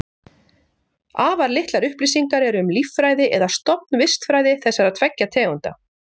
Afar litlar upplýsingar eru um líffræði eða stofnvistfræði þessara tveggja tegunda.